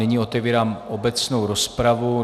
Nyní otevírám obecnou rozpravu.